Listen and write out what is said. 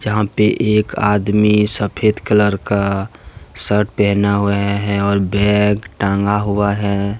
अभी एक आदमी सफेद कलर का शर्ट पहना हुआ है और बैग टंगा हुआ है।